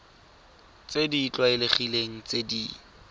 tse di tlwaelegileng tse di